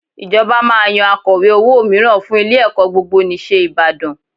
Ìjọba máa yan Akọ̀we owó mìíràn fún ilé-ẹ̀kọ́ Gbogbonìṣe Ìbàdàn